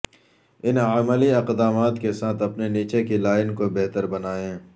ان عملی اقدامات کے ساتھ اپنی نیچے کی لائن کو بہتر بنائیں